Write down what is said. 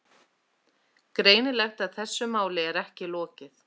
Greinilegt að þessu máli er ekki lokið.